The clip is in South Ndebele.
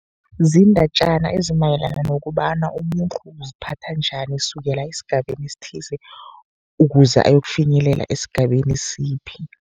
Ziindatjana ezimayelana nokobana umuntu uziphatha njani, kusukela esigabeni esithize ukuze ayokufinyelela esigabeni siphi.